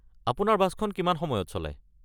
আপোনাৰ বাছখন কিমান সময়ত চলে?